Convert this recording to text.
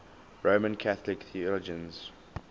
roman catholic theologians